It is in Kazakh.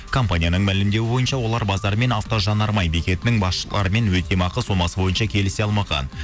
компанияның мәлімдеуі бойынша олар базар мен автожанармай бекетінің басшыларымен өтемақы сомасы бойынша келісе алмаған